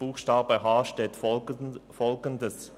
Buchstabe h steht Folgendes: